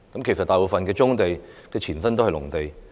其實大部分棕地的前身都是農地。